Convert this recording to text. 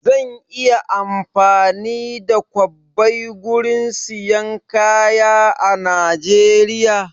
Zan iya amfani da kwabbai gurin siyan kaya a Najeriya?